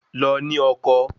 Lọ ní ọkọ